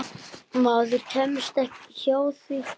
Maður kemst ekki hjá því.